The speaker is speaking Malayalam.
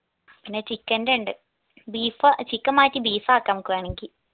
പിന്നെ chicken ന്റെ ഇണ്ട് beef chicken മാറ്റി beef ആക്കാ നമുക്ക് വേണെങ്കി